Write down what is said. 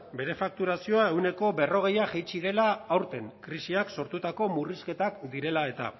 bere fakturazioa ehuneko berrogei jaitsi dela aurten krisiak sortutako murrizketak direla eta